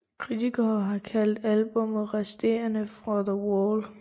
Kritikere har kaldt albummet resterne fra The Wall